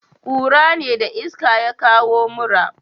kura ne da iska ya kawo mura